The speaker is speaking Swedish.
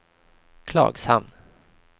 Klagshamn